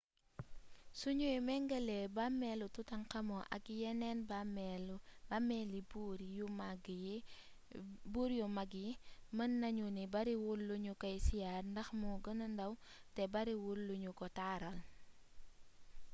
suñuy méngale bàmmeelu toutankhamon ak yeneen bàmmeeli buur yu mag yi mën nañu ni bariwul luñu koy siyaar ndax moo gëna ndaw te bariwul luñu ko taaral